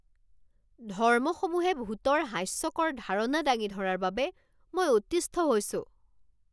ধৰ্মসমূহে ভূতৰ হাস্যকৰ ধাৰণা দাঙি ধৰাৰ বাবে মই অতিষ্ঠ হৈছোঁ।